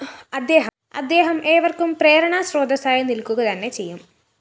അദ്ദേഹം ഏവര്‍ക്കും പ്രേരണാസ്രോതസ്സായി നില്‍ക്കുകതന്നെ ചെയ്യും